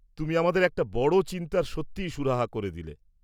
তুমি আমাদের একটা বড় চিন্তার সত্যিই সুরাহা করে দিলে।